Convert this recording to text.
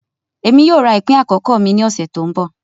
Emi yoo ra ipin akọkọ mi ni ọsẹ to nbọ.